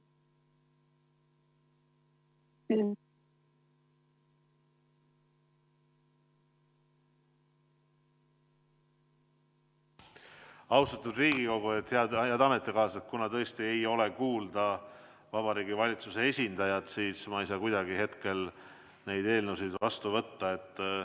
Austatud Riigikogu ja head ametikaaslased, kuna tõesti ei ole Vabariigi Valitsuse esindajat kuulda, siis ma ei saa kuidagi hetkel neid eelnõusid vastu võtta.